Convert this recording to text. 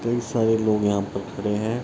कई सारे लोग यहाँ पर खड़े हैं।